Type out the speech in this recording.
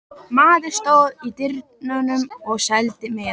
Maður stóð í dyrunum og seldi miða.